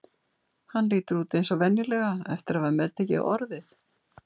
Hann lítur út eins og venjulega eftir að hafa meðtekið Orðið.